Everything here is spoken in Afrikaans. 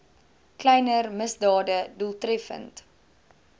kleiner misdade doeltreffend